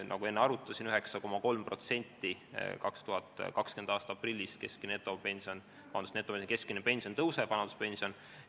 Nagu ma enne arvutasin, 9,3% tõuseb 2020. aasta aprillis keskmine vanaduspension.